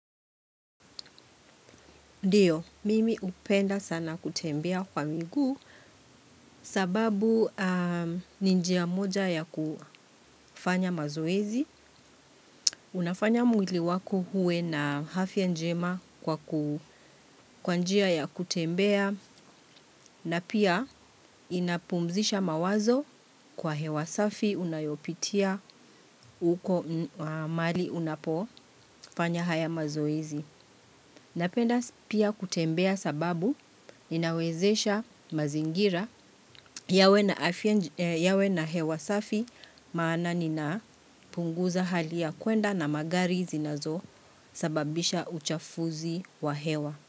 Ndio, mimi hupenda sana kutembea kwa miguu sababu ni njia moja ya kufanya mazoezi, unafanya mwili wako uwe na afya njema kwa kwa njia ya kutembea na pia inapumzisha mawazo kwa hewa safi unayopitia uko mahali unapofanya haya mazoezi. Napenda pia kutembea sababu ninawezesha mazingira yawe na hewa safi maana nina punguza hali ya kwenda na magari zinazo sababisha uchafuzi wa hewa.